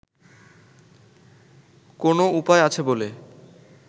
কোনও উপায় আছে বলে